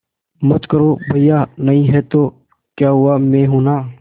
मत करो भैया नहीं हैं तो क्या हुआ मैं हूं ना